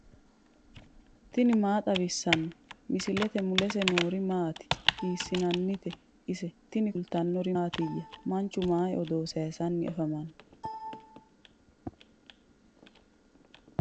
tini maa xawissanno misileeti ? mulese noori maati ? hiissinannite ise ? tini kultannori mattiya? Manchu mayi odoo sayiisanni afammanno?